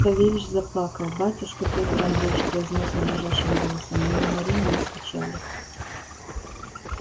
савельич заплакал батюшка пётр андреич произнёс он дрожащим голосом не умори меня с печали